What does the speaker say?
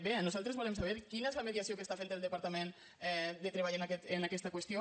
bé nosaltres volem saber quina és la mediació que està fent el departament de treball en aquesta qüestió